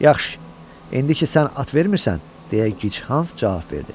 Yaxşı, indi ki sən at vermirsən, – deyə Gichans cavab verdi.